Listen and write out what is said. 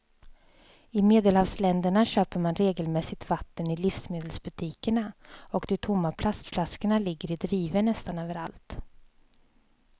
I medelhavsländerna köper man regelmässigt vatten i livsmedelsbutikerna och de tomma plastflaskorna ligger i drivor nästan överallt.